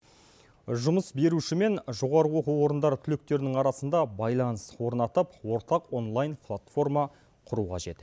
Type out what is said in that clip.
жұмыс беруші мен жоғарғы оқу орындары түлектерінің арасында байланыс орнатып ортақ онлайн платформа құру қажет